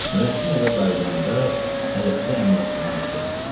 Nurəddin evə qayıdanda həyətdə Əmraslan rast gəldi.